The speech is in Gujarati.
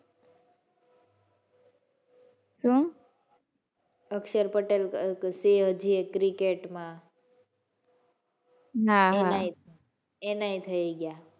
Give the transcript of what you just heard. શું? અક્ષર પટેલ છે હજી એક ક્રિકેટ માં. એનાય એનાય થઈ ગયા.